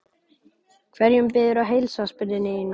Hverjum biðurðu að heilsa? spurði Nína.